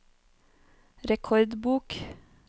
rekordbok